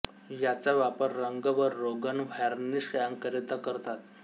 याचा वापर रंग व रोगण व्हार्निश यांकरिता करतात